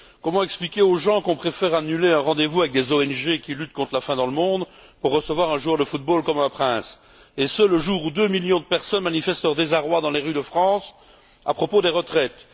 Comment expliquer aux gens qu'on préfère annuler un rendez vous avec des ONG qui luttent contre la faim dans le monde pour recevoir un joueur de football comme un prince, et ce, le jour où deux millions de personnes manifestent leur désarroi dans les rues de France à propos des retraites?